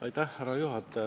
Härra juhataja!